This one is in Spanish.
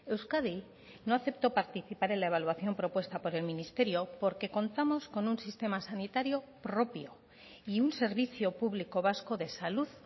euskadi no aceptó participar en la evaluación propuesta por el ministerio porque contamos con un sistema sanitario propio y un servicio público vasco de salud